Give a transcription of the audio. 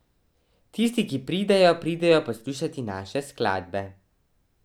Tisti, ki pridejo, pridejo poslušati naše skladbe.